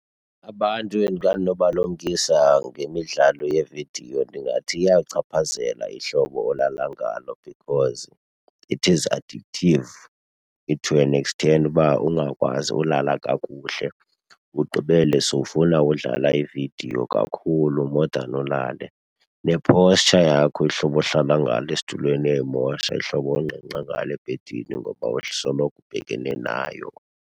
Abantu endinganobalumkisa ngemidlalo yevidiyo ndingathi iyailchaphazela ihlobo olala ngalo because it is addictive to an extent uba ungakwazi ulala kakuhle, ugqibele sowufuna udlala ividiyo kakhulu more than ulale. Ne-posture yakho, ihlobo ohlala ngalo esitulweni iyayimosha, ihlobo ongqengqa ngalo ebhedini ngoba usoloko ubhekene nayo.